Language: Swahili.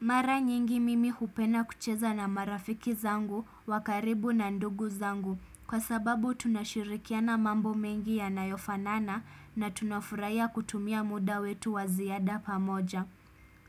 Mara nyingi mimi hupenda kucheza na marafiki zangu wa karibu na ndugu zangu. Kwa sababu tunashirikiana mambo mengi yanayofanana na tunafurahia kutumia muda wetu wa ziada pamoja